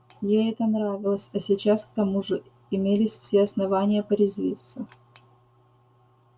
ей это нравилось а сейчас к тому же имелись все основания порезвиться